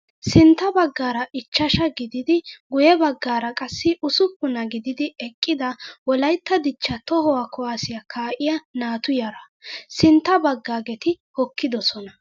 Sinttaa baggaara ichchashaa gididi guyye baggaara qassi usuppunaa gididi eqqida wolayitta dichchaa tohuwaa kuwaasiyaa kaa"iyaa naatu yaraa. Sintta baggaageti hokkidosona.